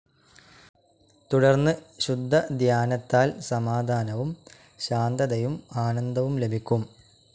തുടർന്ന് ശുദ്ധധ്യാനത്താൽ സമാധാനവും ശാന്തതയും ആനന്ദവും ലഭിക്കും.